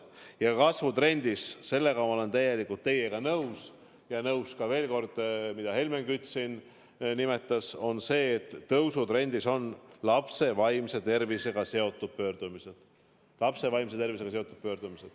Ja veel kord: sellega ma olen täielikult nõus, mida Helmen Kütt siin nimetas, et laste vaimse tervisega seotud pöördumiste arv on tõusutrendis.